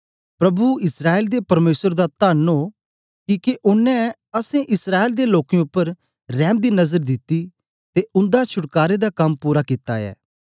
प्रभु इस्राएल दे परमेसर दा धन्न ओ किके ओनें अस इस्राएल दे लोकें उपर रैम दी नजर दिती ते उन्दा छुटकारे दा कम पूरा कित्ता ऐ